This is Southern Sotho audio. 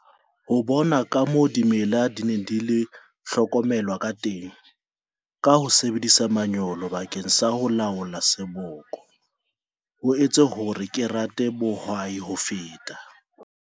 Ho bona kamoo dimela di neng di hlokomelwa kateng ka ho sebedisa manyolo bakeng sa ho laola seboko ho entse hore ke rate bohwai ho feta.